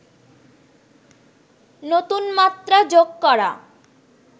নতুন মাত্রা যোগ করা